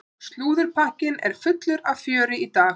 Slúðurpakkinn er fullur af fjöri í dag.